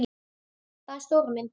Það er stóra myndin.